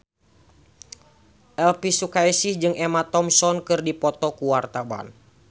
Elvi Sukaesih jeung Emma Thompson keur dipoto ku wartawan